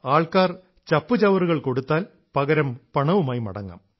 ആൾക്കാർ ചപ്പുചവറുകൾ കൊടുത്താൽ പകരം പണവുമായി മടങ്ങാം